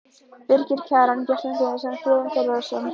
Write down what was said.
Birgir Kjaran, Bjartmar Guðmundsson, Friðjón Þórðarson, Guðlaugur